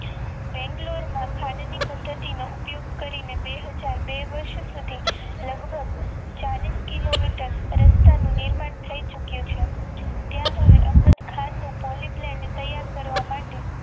બેગ્લોરમાં ખાનની ખાન ની પદ્ધતિનો ઉપયોગ કરીને બે હાજર બે વર્ષો સુધી લાઘગ ચાલીશ કિલો મીટર પરસ્પર નિર્માણ થઈ ચૂક્યું છે ત્યાં હવે અહમદખાનનું Poly Blend તૈયાર કરવા માટે